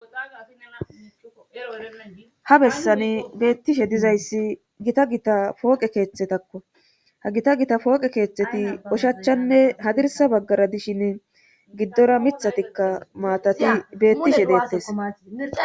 Ha bessani beettishe dizayssi gita gita pooqe keeththetakko ha gita gita pooqe keeththeti oshachchanne hadirsa baggara dishin giddora mithatikka maatati beettishe deettes